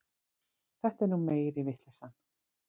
Þetta er nú meiri vitleysan.